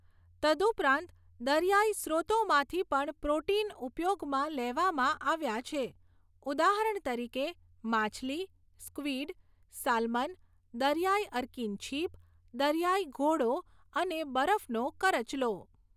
તદુપરાંત દરિયાઈ સ્રોતોમાંથી પણ પ્રોટીન ઉપયોગમાં લેવામાં આવ્યાં છે, ઉદાહરણ તરીકે માછલી, સ્ક્વિડ, સાલ્મન, દરિયાઈ અર્કીન છીપ, દરિયાઈ ઘોડો, અને બરફનો કરચલો.